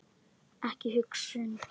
Ekki hugsun.